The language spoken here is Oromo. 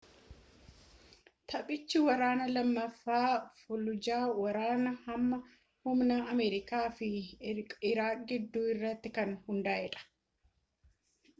taphichi waraana lammaffaa faalujaa ,waraana hamaa humna amerikaa fi iiraaq gidduu irratti kan hundaa’edha